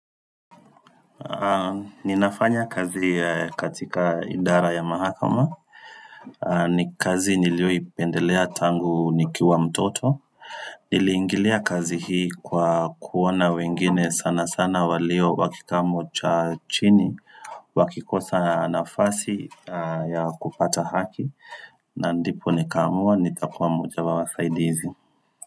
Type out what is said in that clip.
Ninafanya kazi katika idara ya mahakama ni kazi nilioipendelea tangu nikiwa mtoto Niliingilia kazi hii kwa kuona wengine sana sana walio wa kikamo cha chini Wakikosa nafasi ya kupata haki na ndipo nikaamua nitakuwa mmoja wa wasaidizi.